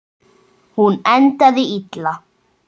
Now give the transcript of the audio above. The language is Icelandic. Hún endaði illa.